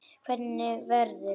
Hvernig verður?